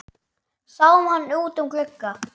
Sáum hann út um glugga.